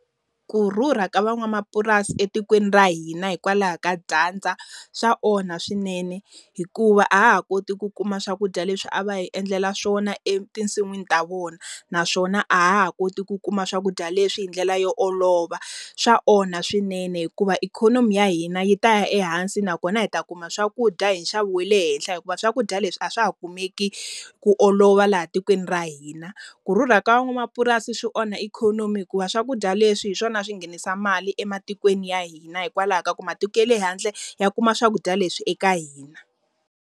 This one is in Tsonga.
Kurhurha ka van'wamapurasi etikweni ra hina hikwalaho ka dyandza, swa onha swinene hikuva a ha ha koti ku kuma swakudya leswi a va hi endlela swona etisin'wini ta vona. Naswona a ha ha koti ku kuma swakudya leswi hi ndlela yo olova. Swa onha swinene hikuva ikhonomi ya hina yi ta ya ehansi nakona hi ta kuma swakudya hi nxavo wa le henhla hikuva swakudya leswi a swa ha kumeki ku olova laha tikweni ra hina. Kurhurha ka va n'wamapurasi swi onha ikhonomi hikuva swakudya leswi hi swona a swi nghenisa mali ematikweni ya hina hikwalaho ka ku matiko ya le handle, ya kuma swakudya leswi eka hina.